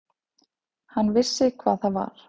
Hann vissi hvað það var.